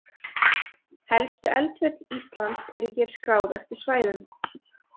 Helstu eldfjöll Íslands eru hér skráð eftir svæðum.